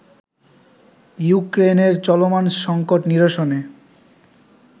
ইউক্রেইনের চলমান সঙ্কট নিরসনে